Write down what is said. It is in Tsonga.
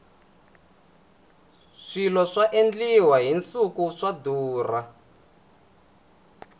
swilo swa endliwa hi nsuku swa durha